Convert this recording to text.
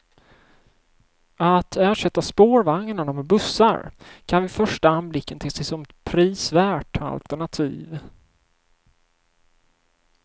Att ersätta spårvagnarna med bussar kan vid första anblicken te sig som ett prisvärt alternativ.